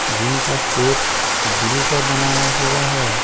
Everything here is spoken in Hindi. जिनका शेप दिल का बनाया हुआ हैं ।